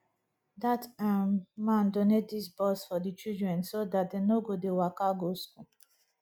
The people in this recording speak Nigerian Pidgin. dat um man donate dis bus for the children so dat dey no go dey waka go school